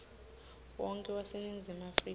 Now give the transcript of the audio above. wonkhe waseningizimu afrika